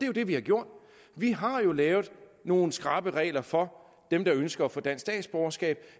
jo det vi har gjort vi har jo lavet nogle skrappe regler for dem der ønsker at få dansk statsborgerskab